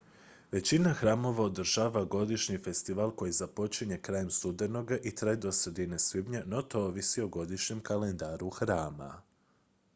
većina hramova održava godišnji festival koji započinje krajem studenoga i traje do sredine svibnja no to ovisi o godišnjem kalendaru hrama